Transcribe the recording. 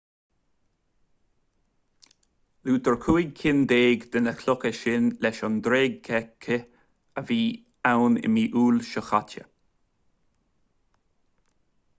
luaitear cúig cinn déag de na clocha sin leis an dreigechith a bhí ann i mí iúil seo caite